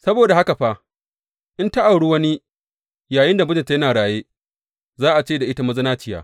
Saboda haka fa, in ta auri wani yayinda mijinta yana raye, za a ce da ita mazinaciya.